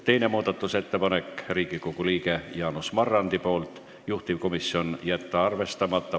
Teine muudatusettepanek on Riigikogu liikmelt Jaanus Marrandilt, juhtivkomisjoni otsus on jätta arvestamata.